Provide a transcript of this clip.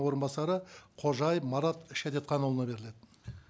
орынбасары қожаев марат шәдетханұлына беріледі